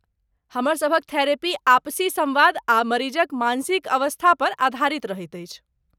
हमर सभक थेरेपी आपसी सम्वाद आ मरीजक मानसिक अवस्थापर आधारित रहैत अछि।